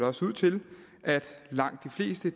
også ud til at langt de fleste